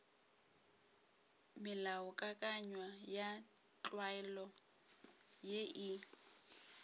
melaokakanywa ya tlwaelo ye e